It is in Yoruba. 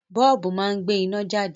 Bọ́ọ̀bù máa ń gbé iná jáde